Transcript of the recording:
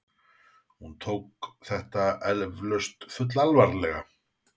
Hún tók þetta eflaust fullalvarlega.